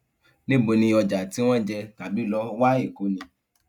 níbo ni ọjà tí wọn jẹ tàbí lọ wá èkó ni